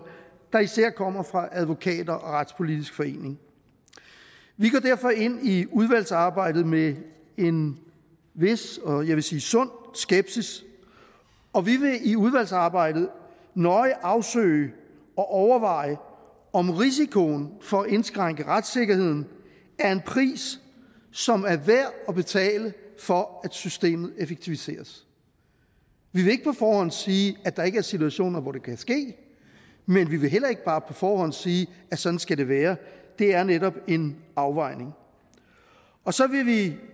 der især kommer fra advokater og retspolitisk forening vi går derfor ind i udvalgsarbejdet med en vis og jeg vil sige sund skepsis og vi vil i udvalgsarbejdet nøje afsøge og overveje om risikoen for at indskrænke retssikkerheden er en pris som er værd at betale for at systemet effektiviseres vi vil ikke på forhånd sige at der ikke er situationer hvor det kan ske men vi vil heller ikke bare på forhånd sige at sådan skal det være det er netop en afvejning så vil vi